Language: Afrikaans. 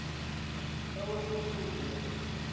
kou voedsel deeglik